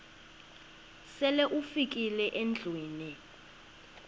sele ufikile endlwini